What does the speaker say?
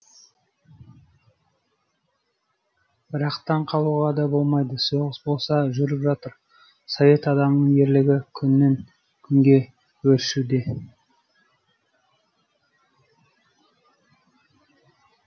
бірақ таң қалуға да болмайды соғыс болса жүріп жатыр совет адамының ерлігі күннен күнге өршуде